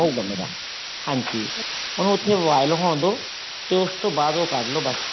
ਹੋਊਗਾ ਮੇਰਾ ਹਾਂਜੀ ਉਹਨੂੰ ਉੱਥੇ boil ਹੋਣ ਦੋ ਤੇ ਉਸ ਤੋਂ ਬਾਅਦ ਉਹ ਕੱਡਲੋ ਬੱਸ